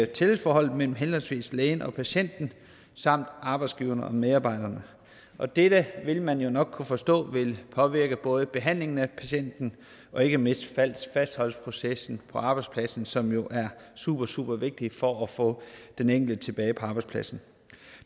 tillidsforholdet mellem henholdsvis lægen og patienten samt arbejdsgiverne og medarbejderne og dette vil man jo nok kunne forstå vil påvirke både behandlingen af patienten og ikke mindst fastholdelsesprocessen på arbejdspladsen som jo er supersupervigtigt for at få den enkelte tilbage på arbejdspladsen